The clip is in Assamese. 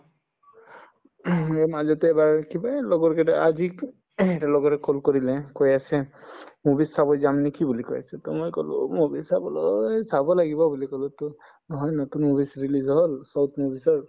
মই মাজতে এবাৰ কিবা লগৰকেইটাই আজি এটাৰ লগৰে call কৰিলে কৈ আছে movies চাব যাম নেকি বুলি কৈ আছে to মই কলো movies চাবলৈ চাব লাগিব বুলি কলো to নহয় নতুন movies release হল movies ৰ